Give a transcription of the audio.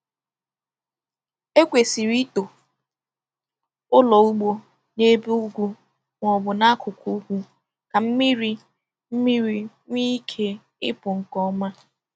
E kwesịrị ịtọ ụlọ ugbo n’elu ugwu ma ọ bụ n’akụkụ ugwu ka mmiri ka mmiri nwee ike ịpụ nke ọma.